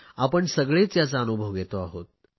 आपण सगळेच याचा अनुभव घेतो आहोत